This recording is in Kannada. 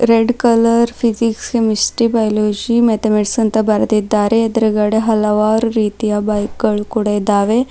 Red colour physics chemistry biology mathematic ಅಂತ ಬರೆದಿದ್ದಾರೆ ಎದೂರು ಗಡೆ ಹಲವಾರು ರೀತಿಯ ಬೈಕ್ ಗಳು ಕೂಡ ಇದಾವೆ.